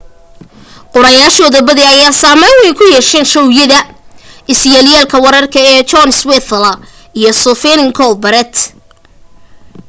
qoraayaashooda badi ayaa saamayn wayn ku yeesheen showyada iska yelyeelka wararka ee jon stewart iyo stephen colbert